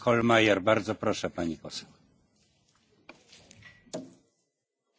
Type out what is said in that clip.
Herr Präsident, Herr Kommissar, liebe Kolleginnen und Kollegen!